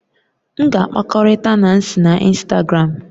M ga-akpakọrịta Nancy na Instagram